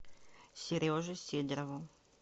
сереже сидорову